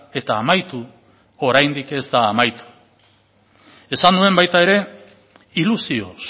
eta amaitu oraindik ez da amaitu esan nuen baita ere ilusioz